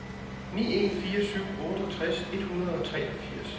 ni en fire syv otteogtres et hundrede og treogfirs